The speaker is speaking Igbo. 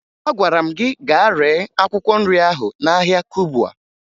Agwara m gị gaa ree akwụkwọ nri ahụ n'ahịa Kubwa